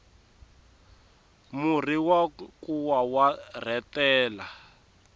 murhi wa nkuwa wa rhetela